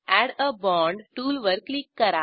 add a bond टूलवर click करा